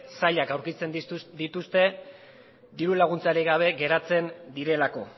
zailak aurkitzen dituzte dirulaguntzarik gabe geratzen direlako